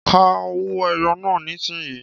Ka owó ẹyọ náà nísìnyí